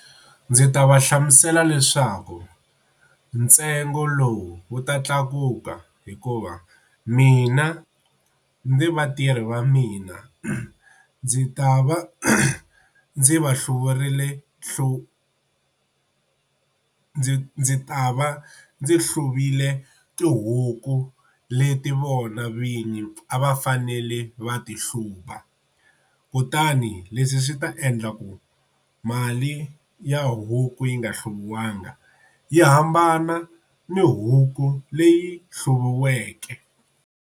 Ndzi ta va hlamusela leswaku ntsengo lowu wu ta tlakuka hikuva mina ni vatirhi va mina ndzi ta va ndzi va hluvurile hlu ndzi ndzi ta va ndzi hluviwile tihuku leti vona vinyi a va fanele va ti hlupha, kutani ni leswi swi ta endla ku mali ya huku yi nga hluviwanga yi hambana ni huku leyi hluviweke.